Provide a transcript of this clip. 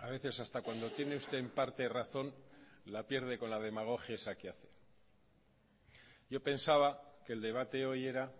a veces hasta cuando tiene usted en parte razón la pierde con la demagogia esa que hace yo pensaba que el debate hoy era